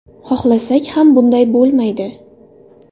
Xohlasak ham bunday bo‘lmaydi.